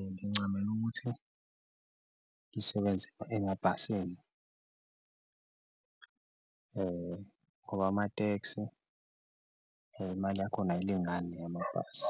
Ngincamela ukuthi ngisebenze emabhasini ngoba amateksi imali yakhona ayilingani neyamabhasi